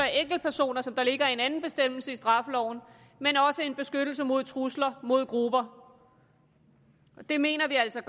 enkeltpersoner som der ligger en anden bestemmelse for i straffeloven men også en beskyttelse mod trusler mod grupper det mener vi altså